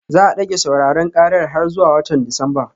Za a dage sauraron karar har zuwa watan Disamba